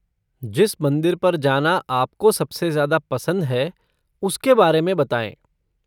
जिस मंदिर पर जाना आपको सबसे ज़्यादा पसंद है उसके बारे में बताएँ।